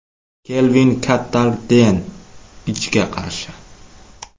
Kelvin Kattar Den Ijga qarshi.